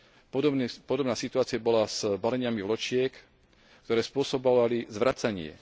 Podobná situácia bola s baleniami vločiek, ktoré spôsobovali zvracanie.